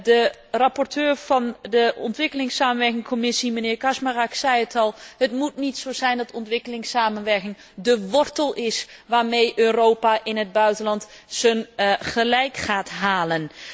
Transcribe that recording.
De rapporteur van de Commissie ontwikkelingssamenwerking, mijnheer Kaczmarek, zei het al, het moet niet zo zijn dat ontwikkelingssamenwerking de wortel is waarmee Europa in het buitenland zijn gelijk gaat halen.